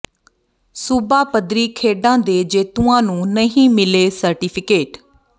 ਸੂਬਾ ਪੱਧਰੀ ਖੇਡਾਂ ਦੇ ਜੇਤੂਆਂ ਨੂੰ ਨਹੀਂ ਮਿਲੇ ਸਰਟੀਫਿਕੇਟ